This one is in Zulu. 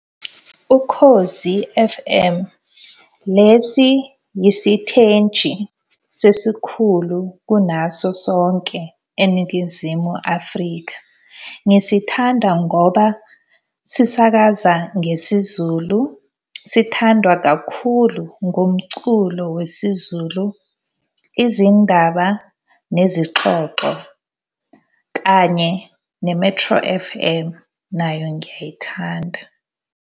UKhozi F_M. Lesi yisithenji sesikhulu kunaso sonke eNingizimu Afrika. Ngisithanda ngoba sisakaza ngesiZulu, sithandwa kakhulu ngomculo wesiZulu. Izindaba nezixoxo kanye ne-Metro F_M nayo ngiyayithanda.